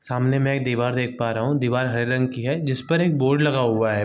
सामने में एक दीवार देख पा रहा हूँ दीवार हरे रंग की है जिस पर एक बोर्ड लगा हुआ है ।